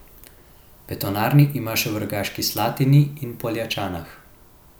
Betonarni ima še v Rogaški Slatini in Poljčanah.